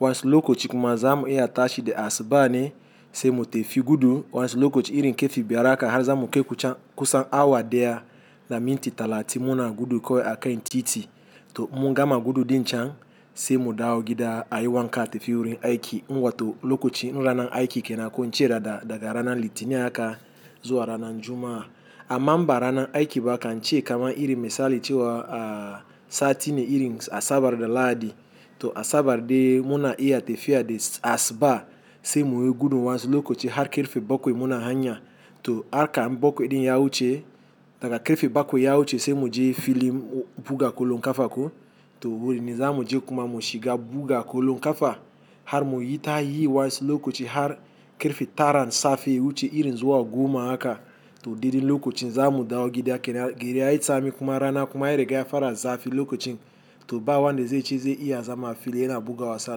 Wasu lokaci kuma zamu iya tashi da asuba ne sai mu tafi gudu. Wasu lokaci irin kirfe biyar haka har zamu kaiku cen ku san awa daya da minti talatin muna gudu kawai a kan titi to in mun gama gudu din cen sai mu dawo gida a yi wanka a tafi wurin aiki. To lokaci ranan aiki kenan ko ince daga ranan Litini haka zuwa ranan Juma'a. Amma in ba ranan aiki ba kan ce kaman irin misali cewa sati ne irin Asabar da Lahadi. To Asabar dai muna iya tafiya da asuba sai muyi gudu wasu lokaci har karfe bakwai muna hanya. To harka in bakwai din ya wuce daga karfe bakwai ya wuce sai mu je filin buga kullum kafa ko to wurin zamu je kuma mu shiga buga kullum kafa har mu yi ta yi wasu lokaci har karfe taran safe ya wuce irin zuwa goma haka. To daidai lokacin zamu dawo gida kenan. Gida ya yi tsami kuma rana kuma ya riga ya fara zafi lokacin to ba wanda zai ce zai iya zama a fili yana buga wasa a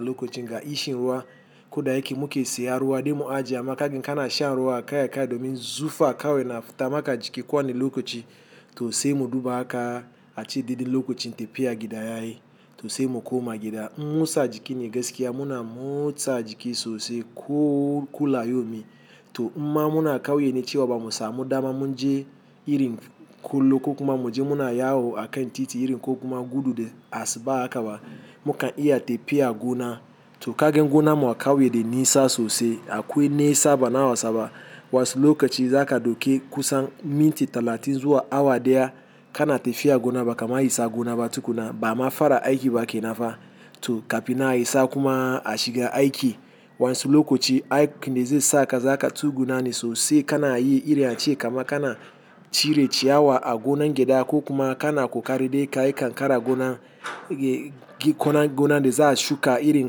lokacin ga ishun ruwa. Ko da yake muke saya ruwa dai mu ajiye amma kaga kana shan ruwa kai a kai domin zufa kawai na fita maka jiki kowane lokaci to sai mu duba haka a ce daidai lokacin tafiya gida yayi to sai mu koma gida. Motsa jiki ne gaskiya muna motsa jiki sosai ko kula yaumi to imma muna kauye ne cewa bamu samu dama mun je irin kullum ko kuma mu je muna yawo a kan titi irin ko kuma gudu da asuba haka ba. Mukan iya tafiya gona to kaga gonan mu akauye da nisa sosai. Akwai nisa bana wasa ba wasu lokaci za ka dauki kusan minti talatin zuwa awa daya kana tafiya gona ba kama isa gona ba tukuna. Ba ama fara aiki ba kenan fa to ka finnan a isa kuma a shiga aiki. Wasu lokaci aikin ne zai saka zaka tsugunna ne sosai kana yi irin ace kama kana cire ciyawa a gonan gyda ko kuma kana kokari dai ka kan kara gonan gonan da za a shuka irin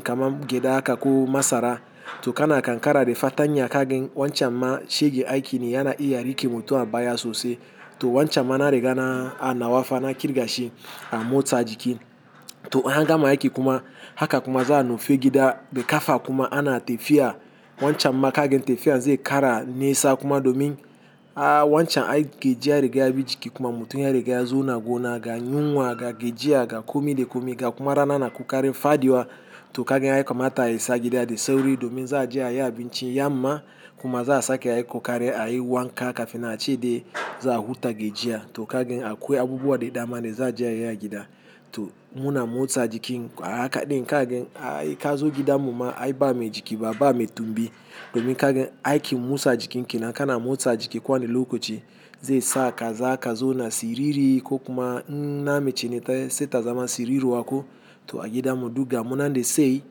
kaman gyada haka ko masara to kana kankara da fartanya ka ga wancan ma shegen aiki ne yana iya rike mutum a baya sosai to wancan ma na riga na nawa fa na kirga shi a motsa jiki. To in an gama aiki kuma haka kuma za a nufi gida da kafa kuma ana tafiya wancan ma ka gan tafiya zai kara nesa kuma domin wancan aikin ji ya riga yabi jiki kuma mutum ya riga ya zauna gona ga yunwa ga gajiya ga komi da komi ga kuma rana na kokarin. Faduwa to kaga ya kamata ya isa gida da sauri domin za aje ayi abinci yamma kuma za a sake ai kokari ayi wanka kafinnan ace dai za a huta gajiya to ka gan akwai abubuwa da dama da za aje ayi a gida to muna motsa jiki ahaka din ka gan ai kazo gidan mu ma ai ba mai jiki ba me tumbi domin kagan aikin motsa jikin kenan kana motsa jiki kowane lokaci zai saka zaka zauna siriri ko kuma in na mace ne sai ta zama siriruwa ko to a gida mu duk ga mu nan dai sai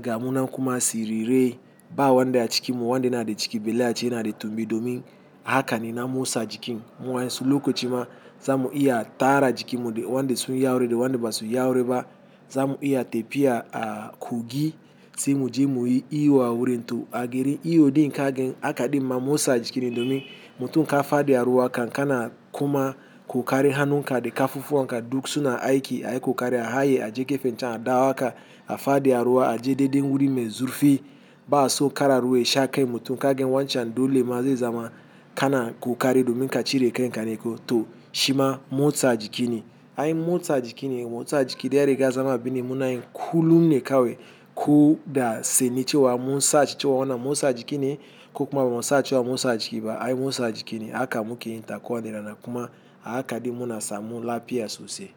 ga mu nan kuma sirirai. Ba wanda a cikin mu wanda yana da ciki, ballai a ce yana da tumbi domin a hakane na motsa jikin. Wa'yan su lokaci ma zamu iya tara jikin mu wanda sun yi aure da wanda ba suyi aure ba zamu iya tafiya a kogi sai muje muyi iyo a wurin to a garin iyo din kagan haka din ma motsa jiki ne domin mutum ka fadi a ruwa kan kana kuma kokarin hannunka da kafufuwanka duk suna aiki. Ai kokari a haye aje gefen can a dawo haka a fadi a ruwa aje daidai wuri mai zurfi ba aso kana ruwa yasha kai mutum kaga wancan dole ma zai zama kana kokari domin ka cire kanka ne kawai to shima motsa jiki ne. Ai motsa jiki ne motsa jiki dai yariga zama abu ne muna yi kullum ne kawai ko da sane cewa mun sashi cewa wannan motsa jiki ne ko kuma bamu sa cewa motsa jiki ba. Ai motsa jiki ne haka muke yin ta kowane rana kuma a haka din muna samu lafiya sosai.